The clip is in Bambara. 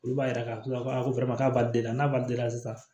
Olu b'a yira k'a fɔ ko k'a b'ale la n'a b'a den la sa